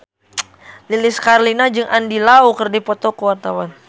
Lilis Karlina jeung Andy Lau keur dipoto ku wartawan